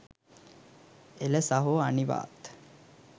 එල සහෝ අනිවාත්